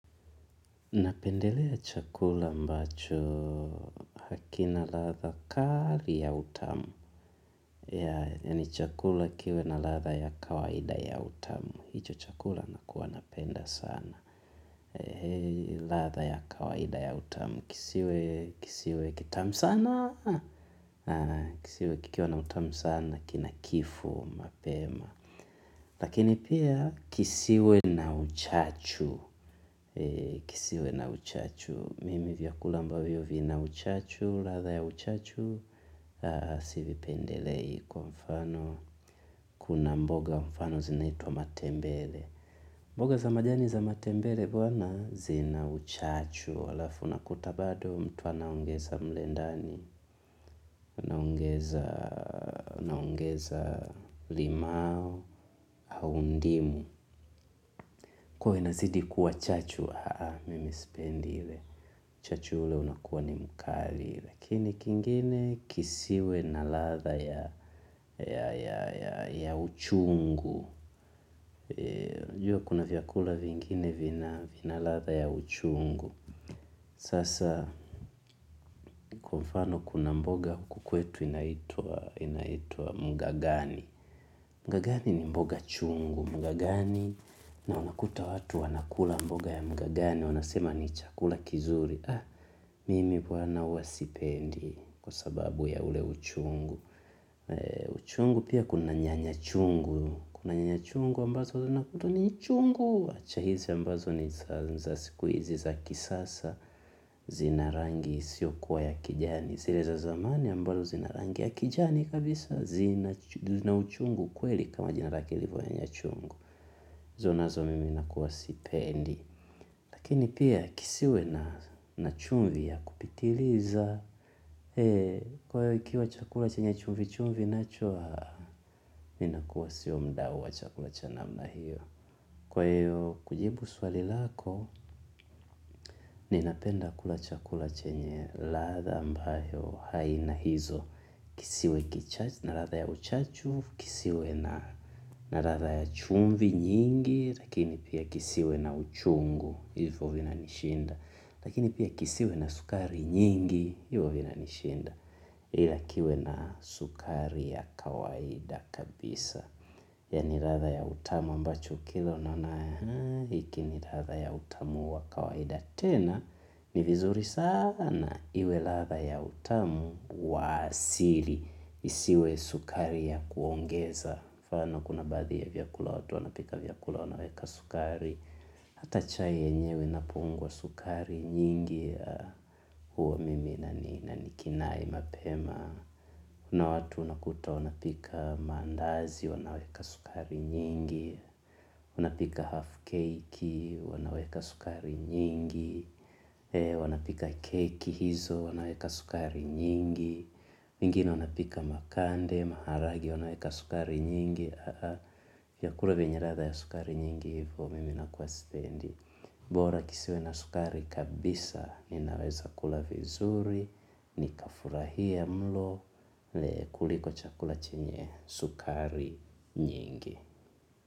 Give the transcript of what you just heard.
Napendelea chakula mbacho hakina ladha kali ya utamu. Yaani chakula kiwe na ladha ya kawaida ya utamu. Hicho chakula nakuwa napenda sana. Ladha ya kawaida ya utamu. Kisiwe kitamu sana. Kisiwe kikiwa na utamu sana. Kina kifu mapema. Lakini pia, kisiwe na uchachu. Kisiwe na uchachu. Mimi vyakula ambayo vina uchachu, ladha ya uchachu, sivipendelei kwa mfano, kuna mboga mfano zinaitwa matembele. Mboga za majani za matembele bwana zina uchachu. Halafu unakuta bado mtu anaongeza mle ndani, anaongeza limao, au ndimu. Kwa hiyo inazidi kuwa chachu, haa, mimi sipendi ile. Uchachu ule unakuwa ni mkali ile. Lakini kingine kisiwe na ladha ya uchungu. Unajua kuna vyakula vingine vina ladha ya uchungu. Sasa kwa mfano kuna mboga huku kwetu inaitwa mgagani. Mgagani ni mboga chungu. Mgagani na unakuta watu wana kula mboga ya mgagani. Wanasema ni chakula kizuri. Mimi bwana huwa sipendi kwa sababu ya ule uchungu. Uchungu pia kuna nyanya chungu ambazo unakuta ni chungu. Acha hizi ambazo ni za siku hizi za kisasa. Zina rangi si ya kijani. Zile za zamani ambazo zina rangi ya kijani kabisa zina uchungu kweli kama jinarake ilivyo ya nyanya chungu. Zile mimi sipendi. Lakini pia kisiwe na chumvi ya kupitiliza. Kwa hiyo ikiwa chakula chenya chumvi chumvi minachoa, minakuwa sio mdawo wa chakula chanamla hiyo. Kwa hiyo, kujibu swali lako, ninapenda kula chakula chenye ladha ambayo haina hizo. Kisiwe kichachu, na ladha ya uchachu, kisiwe na na ladha ya chumvi nyingi, lakini pia kisiwe na uchungu, hivyo vinanishinda. Lakini pia kisiwe na sukari nyingi, hivyo vina nishinda. Ila kiwe na sukari ya kawaida kabisa. Yaani ladha ya utamu ambacho ukila unaona hiki ni ladha ya utamu wa kawaida tena ni vizuri sana iwe ladha ya utamu wa asili isiwe sukari ya kuongeza. Mfano kuna baadhi ya vyakula watu, wanapika vyakula, wanaweka sukari hata chai yenyewe sukari nyingi. Huo mimi nina kinai mapema. Una watu unakuta wanapika mandazi, wanaweka sukari nyingi. Unapika half cake, wanaweka sukari nyingi. Wanapika keki hizo, wanaweka sukari nyingi. Wengine wanapika makande, maharagwe, wanaweka sukari nyingi. Vyakula vinaharibika ya sukari nyingi, hivyo mimi nakuwa sipendi. Bora kisiwe na sukari kabisa ninaweza kula vizuri, nikafurahia mlo kuliko chakula chenye sukari nyingi.